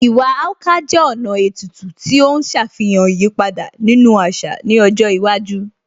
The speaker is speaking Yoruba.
Iwa Akwa jẹ́ ọ̀nà ètùtù tí ó ń ṣàfihàn ìyípadà nínú àṣà ní ọjọ́ iwájú